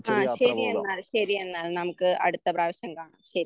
ആഹ് ശരി എന്നാൽ ശരി എന്നാൽ നമുക്ക് അടുത്ത പ്രാവശ്യം കാണാം. ശരി